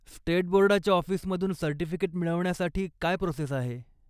State बोर्डाच्या ऑफिसमधून certificate मिळवण्यासाठी काय प्रोसेस आहे?